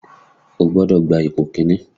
O gbọ́dọ̀ gba ipò kìíní!